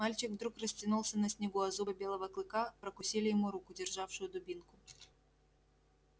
мальчик вдруг растянулся на снегу а зубы белого клыка прокусили ему руку державшую дубинку